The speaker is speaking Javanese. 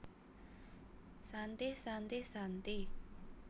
Shantih Shantih Shantih